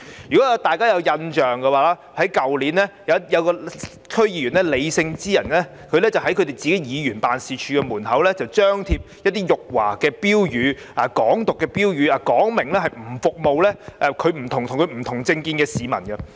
如果大家有印象，去年，一位李姓區議員在議員辦事處門外張貼辱華和"港獨"的標語，表明拒絕服務與他政見不同的市民。